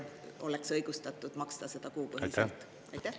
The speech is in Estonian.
… oleks õigustatud maksta seda kuupõhiselt?